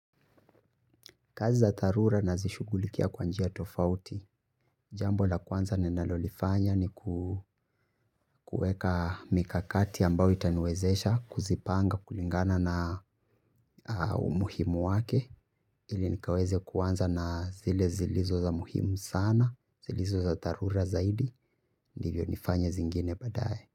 Kazi za dharura nazishughulikia kwa njia tofauti, jambo la kwanza ninalolifanya ni kuweka mikakati ambayo itaniwezesha, kuzipanga kulingana na umuhimu wake, ili nikaweze kuanza na zile zilizo za muhimu sana, zilizo za dharura zaidi, ndivyo nifanye zingine baadaye.